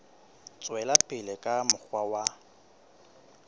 tswela pele ka mokgwa wa